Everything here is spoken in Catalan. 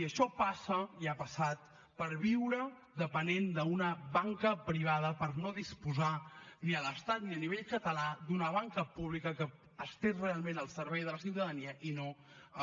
i això passa i ha passat per viure dependent d’una banca privada per no disposar ni a l’estat ni a nivell català d’una banca pública que estigués realment al servei de la ciutadania i no